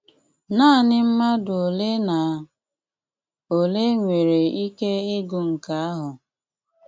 Náaní mmádụ́ ólé ná ólé nwéré íké ígụ nké áhụ.